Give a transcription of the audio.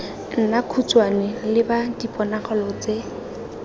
nna khutshwane leba diponagalo tse